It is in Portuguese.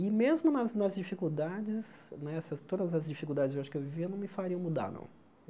E mesmo nas nas dificuldades né, essas todas as dificuldades eu acho que eu vivi eu não me fariam mudar, não.